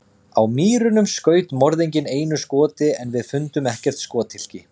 Á Mýrunum skaut morðinginn einu skoti en við fundum ekkert skothylki.